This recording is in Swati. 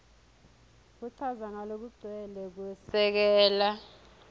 kuchaza ngalokugcwele kwesekela